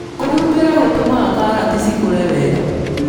Kũhumbĩra gũteithagia karati cikũre wega,